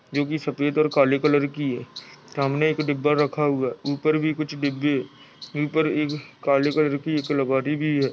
--जो की सफ़ेद और काले कलर की हैं सामने एक डिब्बे रखा हुआ है ऊपर भी कुछ डिब्बे ऊपर एक काले कलर की कलाकारी दी है।